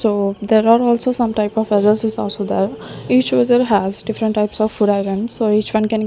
so there are also some type of is also there each user has different types of food items so each one can --